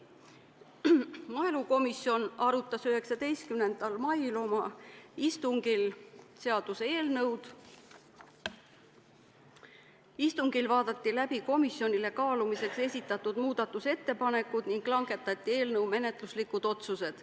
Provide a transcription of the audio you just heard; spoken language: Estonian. Maaelukomisjon arutas seaduseelnõu 19. mai istungil, kus vaadati läbi komisjonile kaalumiseks esitatud muudatusettepanekud ning langetati eelnõu kohta menetluslikud otsused.